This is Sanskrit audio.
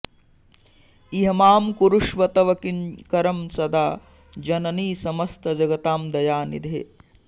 इह मां कुरुष्व तव किङ्करं सदा जननी समस्त जगतां दयानिधे